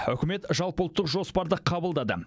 үкімет жалпыұлттық жоспарды қабылдады